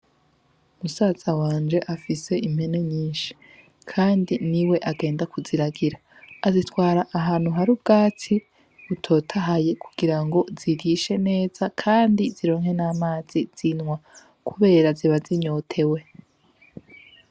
Musaza wanje afise impene nyinshi, kandi ni we agenda kuziragira azitwara ahantu hari ubwatsi butotahaye kugira ngo zirishe neza, kandi zironke n'amazi zinwa, kubera ziba zinyote we.